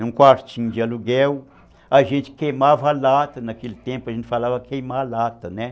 Num quartinho de aluguel, a gente queimava lata, naquele tempo a gente falava queimar lata, né?